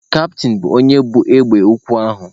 Kaptịn bụ onye bu egbe ukwu ahụ.